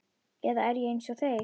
Eða er ég einsog þeir?